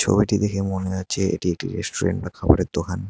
ছবিটি দেখে মনে হচ্ছে এটি একটি রেস্টুরেন্ট বা খাবারের দোকান।